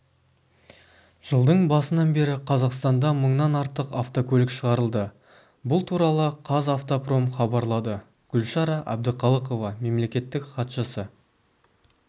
жылдың басынан бері қазақстанда мыңнан артық автокөлік шығарылды бұл туралы қазавтопром хабарлады гүлшара әбдіқалықова мемлекеттік хатшысы